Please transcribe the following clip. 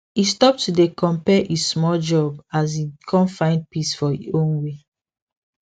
e stop to dey compare e small job as e con find peace for e own way